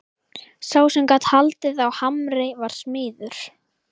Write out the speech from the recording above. Sá sem gat haldið á hamri var smiður.